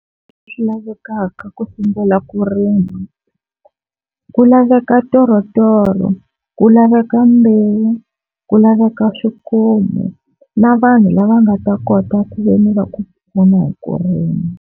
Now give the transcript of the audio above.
Swi lavekaka ku sungula ku rima ku laveka ntorotoro, ku laveka mbewu, ku laveka swikomu na vanhu lava nga ta kota ku veni va ku pfuna hi ku rima.